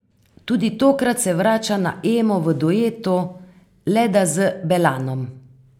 Tudi tokrat se vrača na Emo v duetu, le da z Belanom.